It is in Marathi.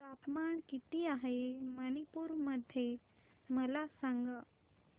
तापमान किती आहे मणिपुर मध्ये मला सांगा